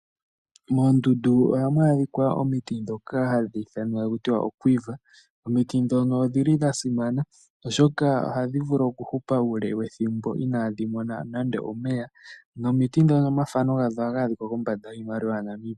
Moondundu ohamu adhika omiti ndhoka hadhi ithanwa taku tiwa okwiva. Omiti ndhono odhi li dha simana, oshoka ohadhi vulu okuhupa uule wedhimbo inadhi mona nande omeya nomiti dhono omafano gadho ohaga adhika kombanda yiimaliwa yaNamibia.